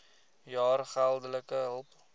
jaar geldelike hulp